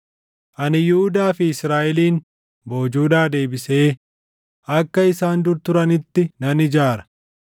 Ani Yihuudaa fi Israaʼelin boojuudhaa deebisee akka isaan dur turanitti nan ijaara.